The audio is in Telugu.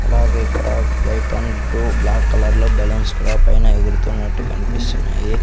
అలాగే ఇక్కడ వైట్ అండ్ బ్రు బ్లాక్ కలర్లో బలూన్స్ కూడా పైన ఎగురుతున్నట్టు కన్పిస్తున్నాయి.